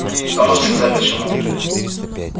кто может сказать почему